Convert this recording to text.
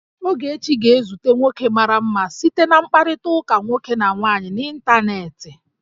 Ogechi ga-ezute nwoke mara mma site na mkpakọrịta nwoke na nwaanyị n'ịntanetị